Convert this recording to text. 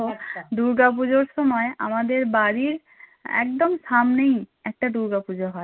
দূর্গা পূজোর সময় আমাদের বাড়ীর একদম সামনেই একটা দূর্গা পূজো হয়